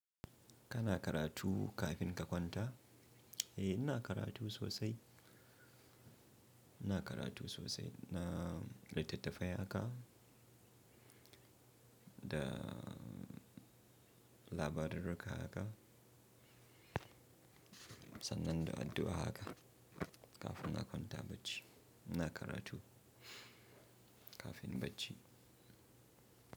Kana karatu kafin ka kwanta? Eh ina karatu sosai, ina karatu sosai. Na littattafai haka da labarurru haka sannan da addu'a haka kafin na kwanta bacci. Ina karatu kafin bacci.